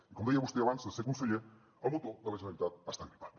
i com deia vostè abans de ser conseller el motor de la generalitat està gripat